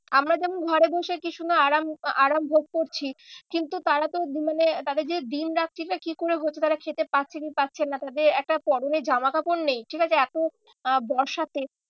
আমরা যেমন ঘরে বসে কি সুন্দর আরাম, আরাম ভোগ করছি কিন্তু তারা তো মানে তাদের যে দিন রাত্রিটা কি করে হচ্ছে তারা খেতে পাচ্ছে কি পাচ্ছে না তাদের একটা পরনে জামা কাপড় নেই। ঠিক আছে এতো আহ বর্ষাতে